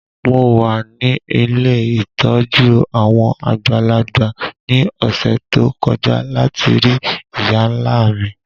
Mo wa ni ilé ìtójú àwon àgbàlagbà ni ọ̀ṣẹ̀ to kọja lati rii ìyá-nla mi.